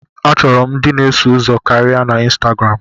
Achọrọ m ndị na-eso ụzọ karịa na Instagram.